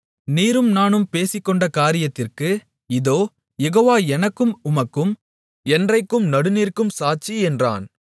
நீரும் நானும் பேசிக்கொண்ட காரியத்திற்கு இதோ யெகோவா எனக்கும் உமக்கும் என்றைக்கும் நடுநிற்கும் சாட்சி என்றான்